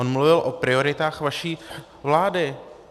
On mluvil o prioritách vaší vlády.